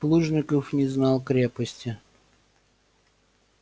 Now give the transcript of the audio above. плужников не знал крепости